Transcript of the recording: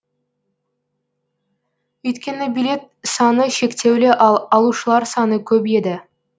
өйткені билет саны шектеулі ал алушылар саны көп еді